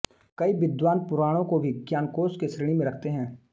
कई विद्वान पुराणों को भी ज्ञानकोश की श्रेणी में रखते हैं